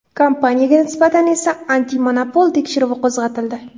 Kompaniyaga nisbatan esa antimonopol tekshiruvi qo‘zg‘atildi.